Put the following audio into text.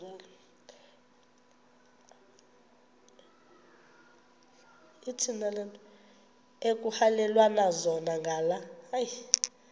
ekuhhalelwana zona ngala